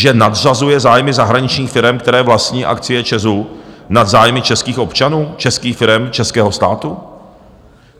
Že nadřazuje zájmy zahraničních firem, které vlastní akcie ČEZ, nad zájmy českých občanů, českých firem, českého státu.